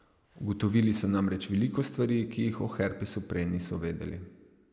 Ugotovili so namreč veliko stvari, ki jih o herpesu prej niso vedeli.